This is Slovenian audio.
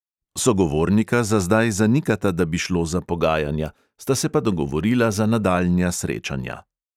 Sogovornika za zdaj zanikata, da bi šlo za pogajanja, sta se pa dogovorila za nadaljnja srečanja.